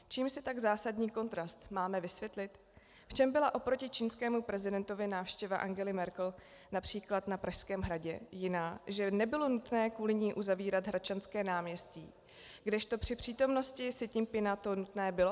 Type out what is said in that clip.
V čem byla oproti čínskému prezidentovi návštěva Angely Merkel například na Pražském hradě jiná, že nebylo nutné kvůli ní uzavírat Hradčanské náměstí, kdežto při přítomnosti Si Ťin-pchinga to nutné bylo?